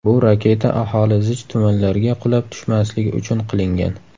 Bu raketa aholi zich tumanlarga qulab tushmasligi uchun qilingan.